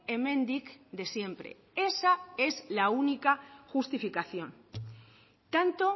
hemendik de siempre esa es la única justificación tanto